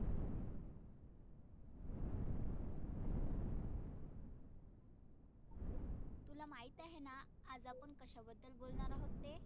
तुला माहित आहेना आज आपण कशाबद्दल बोलणार आहोत ते?